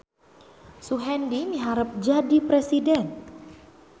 Suhendi miharep jadi presiden